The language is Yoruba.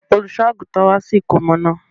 Olùṣọ àgùntàn wá sí ìkómọ náà.